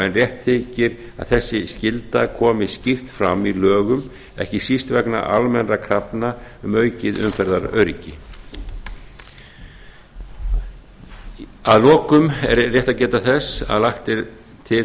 en rétt þykir að þessi skylda komi skýrt fram í lögum ekki síst vegna almennra krafna um aukið umferðaröryggi að lokum er rétt að geta þess að geta þess að lagt er til